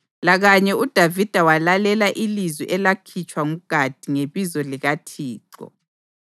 Lakanye uDavida walalela ilizwi elakhitshwa nguGadi ngebizo likaThixo.